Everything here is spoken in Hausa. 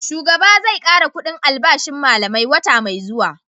Shugaba zai kara kudin albashin su malamai wata mai zuwa